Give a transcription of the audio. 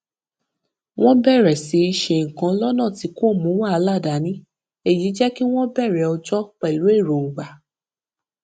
wọn bẹrẹ sí í ṣe nǹkan lọnà tí kò mú wàhálà dání èyí jẹ kí wọn bẹrẹ ọjọ pẹlú èròńgbà